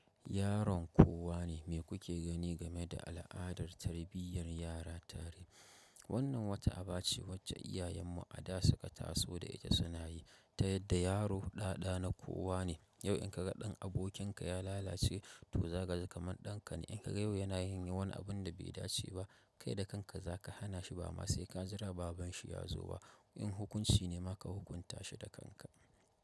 Yaron kowa ne mai kuke gani game da al'adar tarbiyyar yara tare. Wannan wata aba ce wacce iyayenmu a da su ka taso da ita suna yi ta yadda yaro ɗaɗa na kowa ne. Yau in ka ga ɗan abokinka ya lalace ti zaji kaman ɗanka ne, in ka ga yau yana yin wani abun da bai dace ba kai da kanka za ka hana shi ba ma sai ka jira babanshi ya zo ba. In hukunci ne ma ka hukunta shi da kanka.